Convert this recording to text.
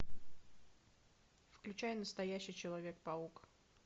включай настоящий человек паук